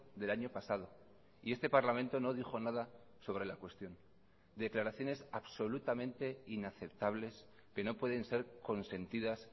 del año pasado y este parlamento no dijo nada sobre la cuestión declaraciones absolutamente inaceptables que no pueden ser consentidas